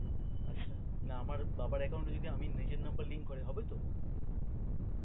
আচ্ছা মানে আমার বাবার account এ যদি আমি নিজের number link করাই হবে তো?